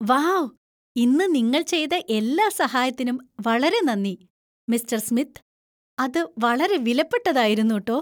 Wow , ഇന്ന് നിങ്ങൾ ചെയ്ത എല്ലാ സഹായത്തിനും വളരെ നന്ദി, മിസ്റ്റർ സ്മിത്ത്. അത് വളരെ വിലപ്പെട്ടതായിരുന്നു ട്ടോ !